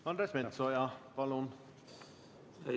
Andres Metsoja, palun!